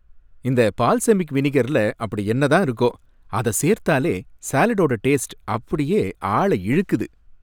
இந்த பால்செமிக் வினிகர்ல அப்படி என்னதான் இருக்கோ! அத சேர்த்தாலே சாலட்டோட டேஸ்ட் அப்படியே ஆள இழுக்குது!